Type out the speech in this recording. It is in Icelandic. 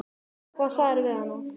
Hvað sagðirðu við hana?